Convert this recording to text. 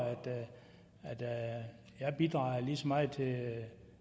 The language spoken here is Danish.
jeg bidrager lige så meget til